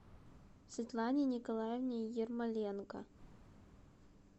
светлане николаевне ермоленко